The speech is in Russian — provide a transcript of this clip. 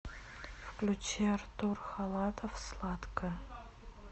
включи артур халатов сладкая